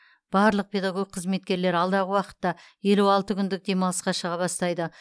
барлық педагог қызметкерлер алдағы уақытта елу алты күндік демалысқа шыға бастайды